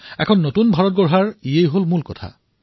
ইয়েই নতুন ভাৰত নিৰ্মাণ কৰিব